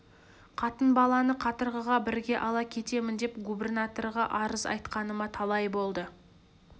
қатын баланы қатырғыға бірге ала кетемін деп губірнатырға арыз айтқаныма талай болды